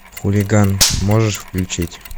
хулиган можешь включить